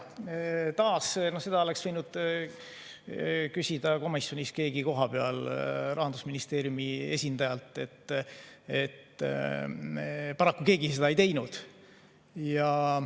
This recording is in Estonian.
Taas, seda oleks võinud küsida komisjonis keegi kohapeal Rahandusministeeriumi esindajalt, paraku keegi seda ei teinud.